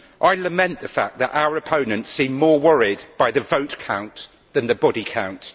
I lament the fact that our opponents seem more worried by the vote count than the body count.